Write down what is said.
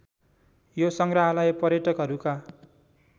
यो सङ्ग्रहालय पर्यटकहरूका